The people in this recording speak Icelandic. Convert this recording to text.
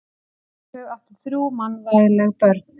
Þau áttu þrjú mannvænleg börn.